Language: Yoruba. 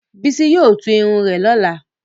Bísí yóò tú irun rẹ lọ́la.